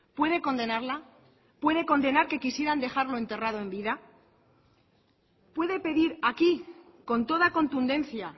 puede condenarla puede condenar que quisieran dejarlo enterrado en vida puede pedir aquí con toda contundencia